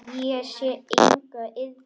Ég sé enga iðrun.